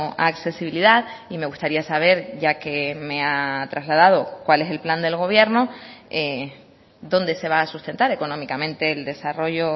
a accesibilidad y me gustaría saber ya que me ha trasladado cuál es el plan del gobierno dónde se va a sustentar económicamente el desarrollo